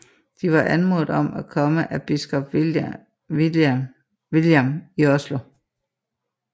De var anmodet om at komme af biskop Viljam i Oslo